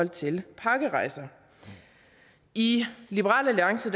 til pakkerejser i liberal alliance